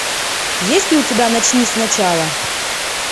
есть ли у тебя начни сначала